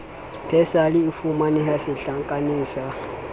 persal e fumaneha setlankaneng sa